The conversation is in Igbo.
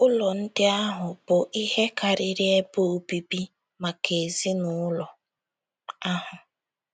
Ụlọ ndị ahụ bụ ihe karịrị ebe obibi maka ezinụlọ ahụ.